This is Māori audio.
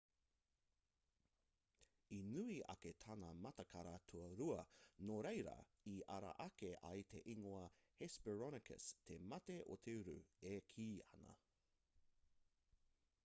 i nui ake tana matikara tua rua nō reira i ara ake ai te ingoa hesperonychus te mati o te uru e kī ana